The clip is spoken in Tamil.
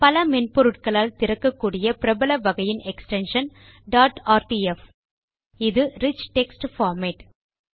பல மென்பொருட்களால் திறக்கக்கூடிய பிரபல வகையின் எக்ஸ்டென்ஷன் டாட் ஆர்டிஎஃப் இது ரிச் டெக்ஸ்ட் பார்மேட்